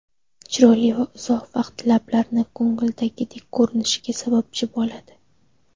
Chiroyli va uzoq vaqt lablarni ko‘ngildagidek ko‘rinishiga sababchi bo‘ladi.